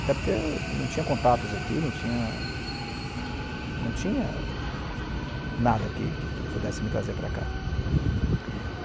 Até porque não tinha contatos aqui, não tinha... não tinha nada que que que pudesse me trazer para cá.